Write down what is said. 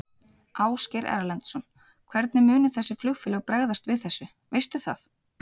Ásgeir Erlendsson: Hvernig munu þessi flugfélög bregðast við þessu, veistu það?